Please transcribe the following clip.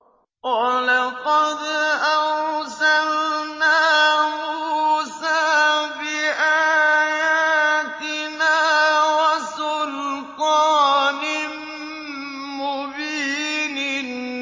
وَلَقَدْ أَرْسَلْنَا مُوسَىٰ بِآيَاتِنَا وَسُلْطَانٍ مُّبِينٍ